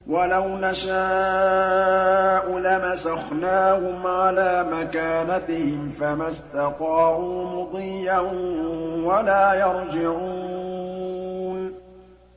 وَلَوْ نَشَاءُ لَمَسَخْنَاهُمْ عَلَىٰ مَكَانَتِهِمْ فَمَا اسْتَطَاعُوا مُضِيًّا وَلَا يَرْجِعُونَ